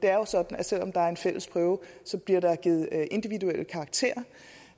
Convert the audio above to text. er sådan at selv om der er en fælles prøve bliver der givet individuelle karakterer